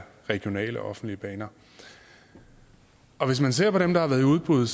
regionale og offentlige baner hvis man ser på dem der har været i udbud